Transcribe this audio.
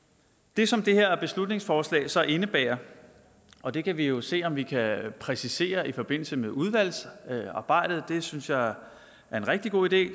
det som det her beslutningsforslag så indebærer og det kan vi jo se om vi kan præcisere i forbindelse med udvalgsarbejdet det synes jeg er en rigtig god idé